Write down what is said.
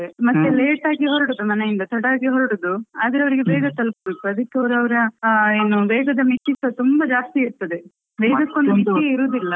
ಮತ್ತೆ late ಆಗಿ ಹೊರಡುದು ಮನೆಯಿಂದ ತಡ ಆಗಿ ಹೊರಡುದು, ಆದ್ರೆ ಅವ್ರಿಗೆ ಬೇಗ ತಲುಪ್ಬೇಕು ಅದ್ಕೆ ಅವ್ರು ಅವ್ರ ಏನು ವೇಗದ ಮಿತಿಸ ತುಂಬ ಜಾಸ್ತಿ ಇರ್ತದೆ .